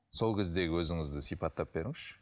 сол кездегі өзіңізді сипаттап беріңізші